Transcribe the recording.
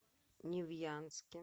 невьянске